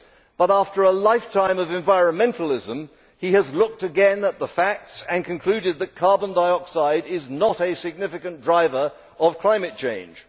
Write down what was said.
But after a lifetime of environmentalism, he has looked again at the facts and concluded that carbon dioxide is not a significant driver of climate change.